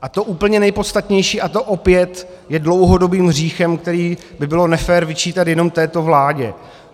A to úplně nejpodstatnější, a to je opět dlouhodobým hříchem, který by bylo nefér vyčítat jenom této vládě.